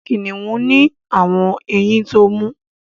kiniun ni awọn ẹyìn tó mú